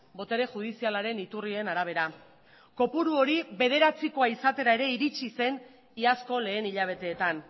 botere judizialaren iturrien arabera kopuru hori bederatzikoa izatera ere iritsi zen iazko lehen hilabeteetan